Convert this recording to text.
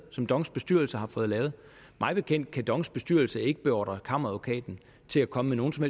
som dongs bestyrelse har fået lavet mig bekendt kan dongs bestyrelse ikke beordre kammeradvokaten til at komme med nogen som